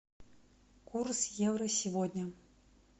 курс евро сегодня